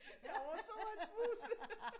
Jeg overtog hans mus!